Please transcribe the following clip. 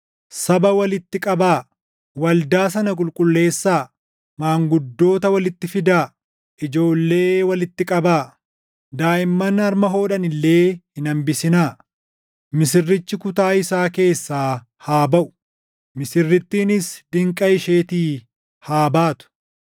Saba walitti qabaa; waldaa sana qulqulleessaa; maanguddoota walitti fidaa; ijoollee walitti qabaa; daaʼimman harma hodhan illee hin hambisinaa. Misirrichi kutaa isaa keessaa haa baʼu; misirrittiinis diinqa isheetii haa baatu.